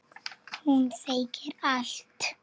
Hún segir allt.